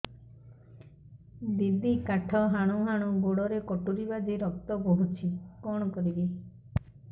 ଦିଦି କାଠ ହାଣୁ ହାଣୁ ଗୋଡରେ କଟୁରୀ ବାଜି ରକ୍ତ ବୋହୁଛି କଣ କରିବି